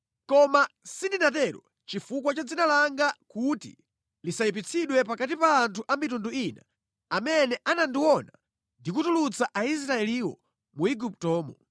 Koma sindinatero chifukwa cha dzina langa kuti lisayipitsidwe pakati pa anthu a mitundu ina amene anandiona ndikutulutsa Aisraeliwo mu Iguptomo.